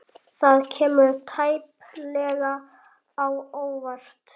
Það kemur tæplega á óvart.